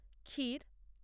ক্ষীর